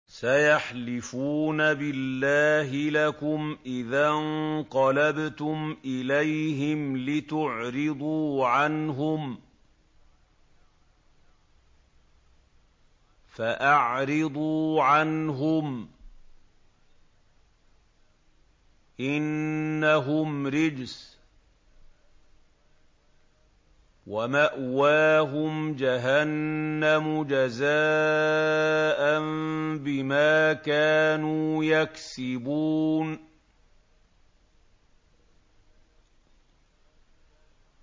سَيَحْلِفُونَ بِاللَّهِ لَكُمْ إِذَا انقَلَبْتُمْ إِلَيْهِمْ لِتُعْرِضُوا عَنْهُمْ ۖ فَأَعْرِضُوا عَنْهُمْ ۖ إِنَّهُمْ رِجْسٌ ۖ وَمَأْوَاهُمْ جَهَنَّمُ جَزَاءً بِمَا كَانُوا يَكْسِبُونَ